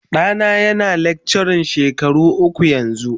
Ɗana yana lecture shekara uku yanzu.